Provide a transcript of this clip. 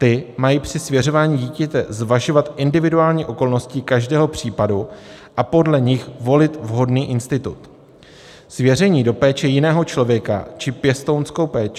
Ty mají při svěřování dítěte zvažovat individuální okolnosti každého případu a podle nich volit vhodný institut, svěření do péče jiného člověka či pěstounskou péči.